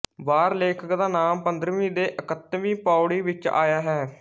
ਵਾਰ ਲੇਖਕ ਦਾ ਨਾਮ ਪੰਦਰਵੀਂ ਤੇ ਇਕੱਤਵੀਂ ਪਉੜੀ ਵਿੱਚ ਆਇਆ ਹੈ